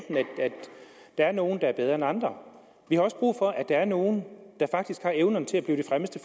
der er nogle der er bedre end andre vi har også brug for at der er nogle der faktisk har evnerne til at blive de fremmeste